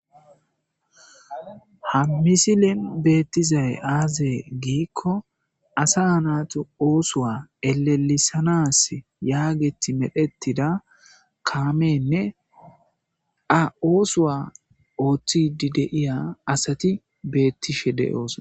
Ha misilen beettizay aazee giikko asa naaxo oosuwa elelisanas yaageti medhettida kaamenne a oosuwa ooththidi deiya asati beettishe de oosoa.